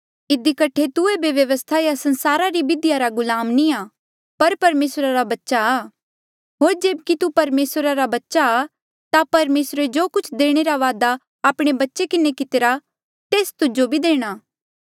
इधी कठे तू एेबे व्यवस्था या संसारा री बिधिया रा गुलाम नी आ पर परमेसरा रा बच्चा आ होर जेब्की तू परमेसरा रा बच्चा आ ता परमेसरे जो कुछ देणे रा वादा आपणे बच्चे किन्हें कितिरा तेस तुजो भी देणा